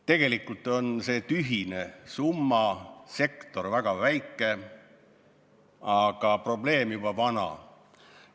Tegelikult on see tühine summa, sektor on väga väike, aga probleem on juba vana.